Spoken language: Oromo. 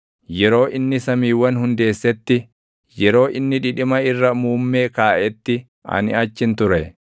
Yeroo inni samiiwwan hundeessetti, yeroo inni dhidhima irra muummee kaaʼetti ani achin ture;